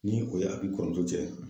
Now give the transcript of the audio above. Ni o y'a f'i kɔrɔmuso cɛ ye.